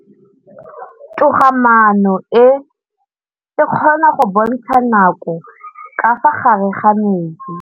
Toga-maanô e, e kgona go bontsha nakô ka fa gare ga metsi.